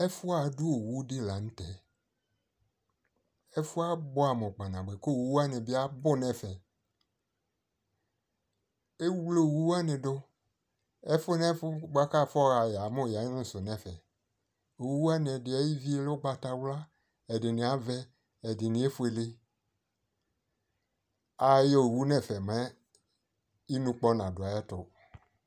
ɛfu ado owu di lantɛ, ɛfuɛ aboɛ amo kpanaboɛ ko owu wani abo no ɛfɛ, ewle owu wani do ɛfu nɛfu boa ko afɔ ha yamo yano so no ɛfɛ owu wani edi ayi vi lɛ ugbata wla, ɛdini avɛ, ɛdini efuele ayɔ owu no ɛfɛ mɛ inukpɔ nado ayɛto